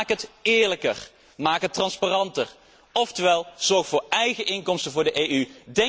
Maak het eerlijker, maak het transparanter, of zorg voor eigen inkomsten voor de EU.